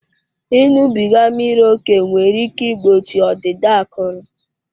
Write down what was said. Ịṅụbiga mmiri ókè nwere ike igbochi ọdịda akụrụ.